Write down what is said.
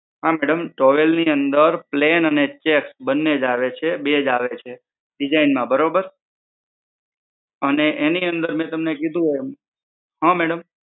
હા madam towel ની અંદર plane અને checks બને જ આવે છે બે જ આવે છે design માં બરોબર? અને એની અંદર મે તમને કીધું એમ હા madam